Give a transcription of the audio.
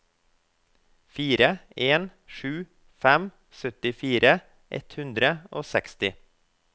fire en sju fem syttifire ett hundre og seksti